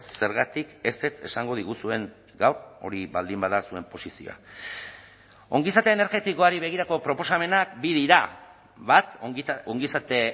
zergatik ezetz esango diguzuen gaur hori baldin bada zuen posizioa ongizate energetikoari begirako proposamenak bi dira bat ongizate